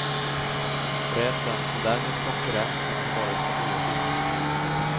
Bredden och därmed konkurrensen har varit för dålig.